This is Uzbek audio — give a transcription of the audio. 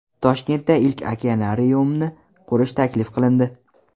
Toshkentda ilk okenariumni qurish taklif qilindi.